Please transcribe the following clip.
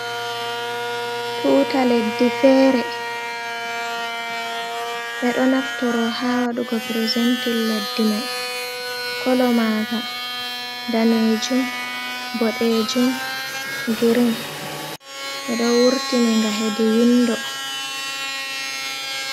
Tuuta leddi feere ɓeɗo naftoro ha waɗugo prezentin leddi mai, kolo maga danejum, bodejum, girin be do wurtini nga hedi windo.